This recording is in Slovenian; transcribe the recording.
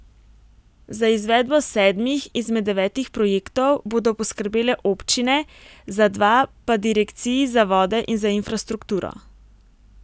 Za izvedbo sedmih izmed devetih projektov bodo poskrbele občine, za dva pa direkciji za vode in za infrastrukturo.